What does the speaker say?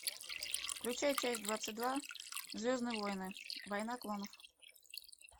включай часть двадцать два звездные войны война клонов